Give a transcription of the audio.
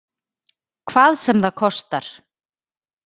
Hvað sem það kostar!